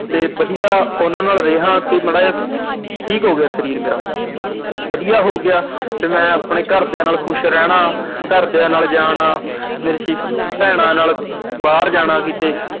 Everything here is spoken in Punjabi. ਤੇ ਵਧੀਆ ਉਹਨਾਂ ਨਾਲ ਰਿਹਾ ਤੇ ਮਾੜਾ ਜਿਹਾ ਠੀਕ ਹੋ ਗਿਆ ਸਰੀਰ ਮੇਰਾ। ਵਧੀਆ ਹੋ ਗਿਆ ਤੇ ਮੈਂ ਆਪਦੇ ਘਰਦਿਆਂ ਨਾਲ ਖੁਸ਼ ਰਹਿਣਾ, ਘਰਦਿਆਂ ਨਾਲ ਜਾਣਾ, ਮੇਰੀ sis ਭੈਣਾਂ ਨਾਲ ਬਾਹਰ ਜਾਣਾ ਕਿਤੇ।